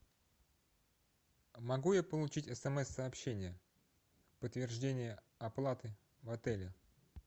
могу я получить смс сообщение подтверждение оплаты в отеле